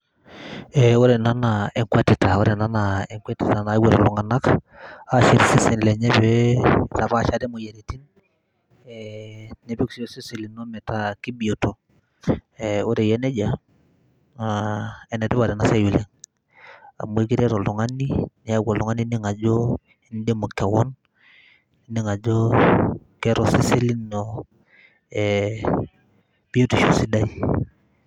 E ore ena na enkwetita ore ena naa nakwet ltunganak ashet iseseni lenye peepashare moyiaritin e nishet si osesen lino metaa kaibioto ,ere eyia nejia na enetipat enasiai oleng amu ekiret oltungani neaku oltungani ining ajo indimu keon nining ajo keeta osesen lino e biotisho sidai.